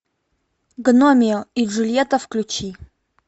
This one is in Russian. гномео и джульетта включи